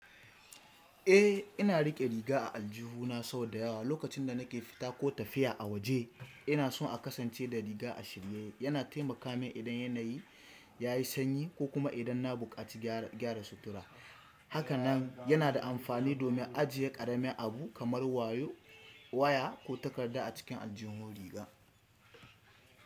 Eh, ina riƙe riga a aljihu na sau da yawa lokacin da nake fita ko tafiya a waje. Ina so a kasance da riga a shirye, yana taimaka min idan yanayi ya yi sanyi ko kuma idan na buƙaci gyara sutura. Haka nan yana da amfani domin ajiye ƙaramin abu kamar waya ko takarda a cikin aljihun riga.